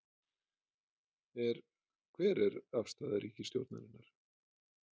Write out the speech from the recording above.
Er, hver er afstaða ríkisstjórnarinnar?